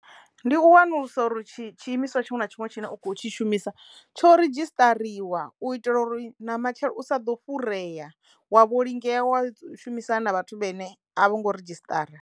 Ndi u wanulusa uri tshi tshiimiswa tshiṅwe na tshiṅwe tshine u kho tshi shumisa tsho ridzhisṱariwa u itela uri na matshelo u sa ḓo fhurea wa vho lingea wa shumisana na vhathu vhene a vho ngo ridzhisṱara.